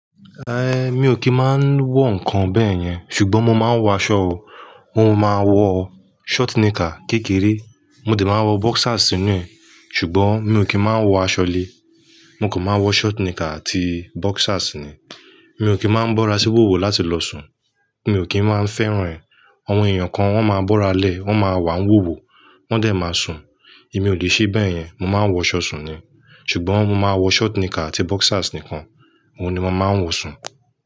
Eh, mi ò kí ń máa ń wọ ǹkan bẹ́yẹn, ṣùgbọ́n mo máa ń wọ aṣọ o. N ò máa wọ short knicker kékeré, mo de máa ń wọ boxers nínú ẹ̀, ṣùgbọ́n mi ò kí ń máa ń wọ aṣọ ilé. Mo kò máa wọ short knicker àti boxers ni. Mi ò kí ń máa ń bọ́ra sí wòwò láti lọ sùn, mi ò kí ń máa ń fẹ́ràn rẹ̀. Àwọn èèyàn kan wọ́n máa ń bọ́ra lẹ́, wọ́n máa wà wòwò, wọ́n dẹ̀ máa sùn. Èmi ò lè ṣe bẹ́yẹn, mo máa ń wọ ṣọ sùn ni. Ṣùgbọ́n mo máa wọ short knicker àti boxers nìkan. Óun ni màá ń wọ sùn.